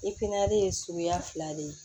I pinɛ ye suguya fila de ye